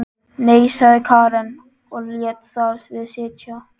Nei, sagði Karen og lét þar við sitja.